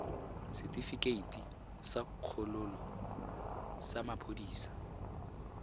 setefikeiti sa kgololo sa maphodisa